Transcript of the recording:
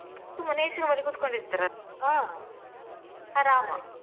ಸುಮ್ಮನೆ AC room ಅಲ್ಲಿ ಕುತ್ಕೊಂಡ್ ಇರ್ತಾರಲ್ವಾ ಆರಾಮ.